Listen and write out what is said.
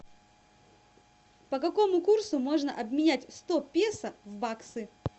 по какому курсу можно обменять сто песо в баксы